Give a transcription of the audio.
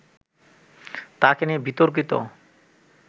তাকে নিয়ে বিতর্কিত